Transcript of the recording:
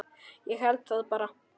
Ég held það bara.